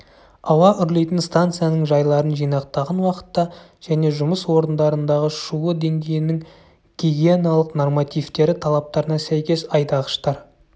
ауа үрлейтін станцияның жайларын жинақтаған уақытта және жұмыс орындарындағы шуы деңгейінің гигиеналық нормативтері талаптарына сәйкес айдағыштар